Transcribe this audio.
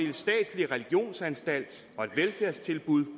en statslig religionsanstalt og et velfærdstilbud